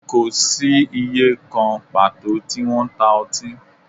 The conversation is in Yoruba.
Kò sí ìyè kan pàtó tí wọ́n ń ta ọtí